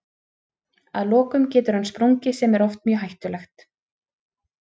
Að lokum getur hann sprungið sem er oft mjög hættulegt.